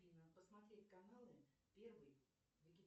афина посмотреть каналы первый